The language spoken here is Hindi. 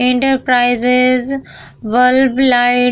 enterprises bulb light --